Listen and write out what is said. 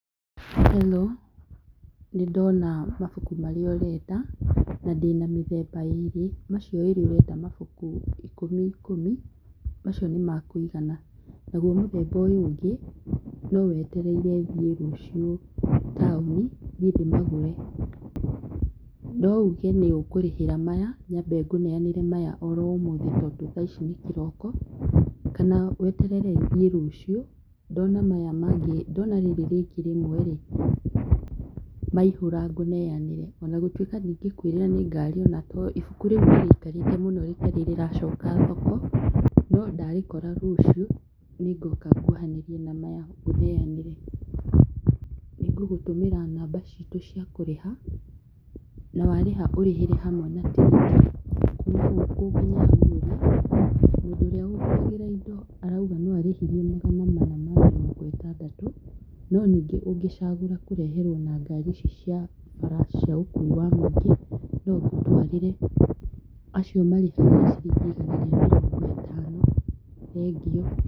Hello nĩ ndona mabuku marĩa ũrenda na ndĩna mĩthemba ĩrĩ macio wĩrirwo ũrenda mabuku ikũmi ikũmi. Macio nĩ mekũigana naguo mũthemba ũyũ ũngĩ no weterire thiĩ rũcio taũni thiĩ ndĩmagũre, no uge nĩ ũkũrĩhĩra maya nyambe ngũneanĩra maya oro ũmũthĩ tondũ thaa ici nĩ kĩroko, kana weterere thiĩ rũciũ ndona maya mangĩ, ndona rĩrĩ rĩngĩ rĩmwe rĩ , maihũra ngũneanĩre ona gũtuĩka ndingĩkwĩrĩra ni ngari, ibuku rĩu nĩ rĩikarĩte mũno rĩtarĩ rĩracoka thoko no ndarĩkora rũciũ nĩ ngoka ngwohanĩrie na maya ngũneanĩre. Nĩ ngũgũtũmĩra namba ciitũ cia kũrĩha na warĩha ũrĩhĩre hamwe na tigiti kuma gũkũ nginya hau ũrĩ mũndũ ũrĩa ũnguagĩra indo arauga no arĩhirie magana mana ma mĩrongo ĩtandatũ no ningĩ ũngĩcagũra kũreherwo na ngari ici cia bara cia ũkui wa mũingĩ no ngũtwarĩre acio marĩhagia ciringi igana rĩa mĩrongo ĩtano, thengiũ.